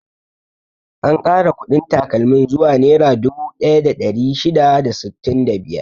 An kara kuɗin takalmin zuwa nera dubu ɗaya da ɗari shida da sittin da biyar.